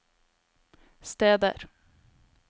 steder